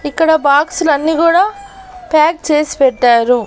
ఇక్కడ బాక్స్ లన్నీ గూడా ప్యాక్ చేసి పెట్టారు.